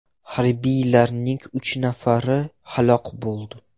Harbiylarning uch nafari halok bo‘ldi.